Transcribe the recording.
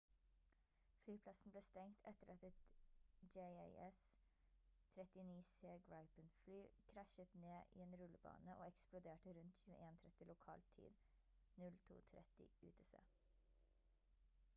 flyplassen ble stengt etter at et jas 39c gripen-fly krasjet ned i en rullebane og eksploderte rundt 21:30 lokal tid 02:30 utc